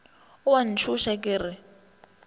o a ntšhoša ke re